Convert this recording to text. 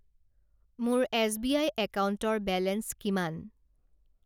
মোৰ এছবিআই একাউণ্টৰ বেলেঞ্চ কিমান?